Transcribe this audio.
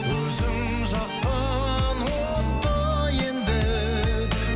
өзің жаққан отты енді